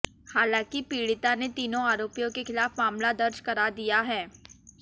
हालांकि पीड़िता ने तीनों आरोपियों के खिलाफ मामला दर्ज करा दिया है